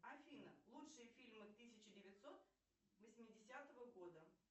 афина лучшие фильмы тысяча девятьсот восьмидесятого года